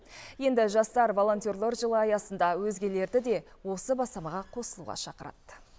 енді жастар волонтерлар жылы аясында өзгелерді де осы бастамаға қосылуға шақырады